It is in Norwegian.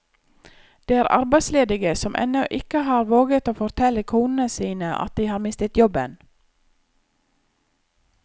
Det er arbeidsledige som ennå ikke har våget å fortelle konene sine at de har mistet jobben.